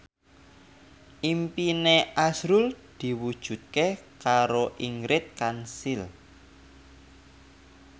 impine azrul diwujudke karo Ingrid Kansil